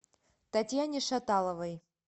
татьяне шаталовой